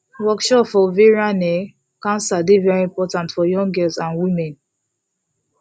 workshop for ovarian um cancer dey very important for young girls and women